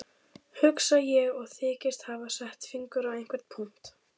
Hugsa ég og þykist hafa sett fingur á einhvern punkt.